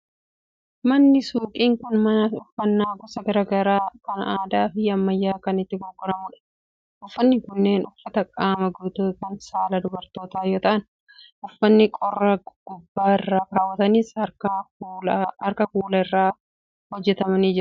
Manni suuqii kun, mana uffanni gosa garaa garaa kan aadaa fi ammayyaa itti gurguramuu dha. Uffanni kunneen, uffata qaama guutuu kan saala dubartootaa yoo ta'an, uffanni qorraa gubbaa irraa kaawwatanis harkaan kuula irraa hojjatamanii jiru.